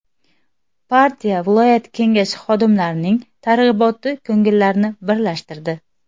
Partiya viloyat Kengashi xodimlarining targ‘iboti ko‘ngillilarni birlashtirdi.